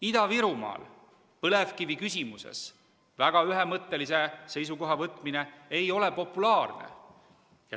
Ida-Virumaal põlevkivi küsimuses väga ühemõttelise seisukoha võtmine ei ole samuti populaarne.